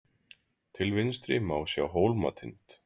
Til vinstri má sjá Hólmatind.